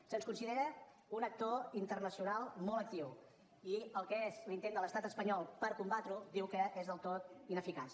se’ns considera un actor internacional molt actiu i el que és l’intent de l’estat espanyol per combatreho diu que és del tot ineficaç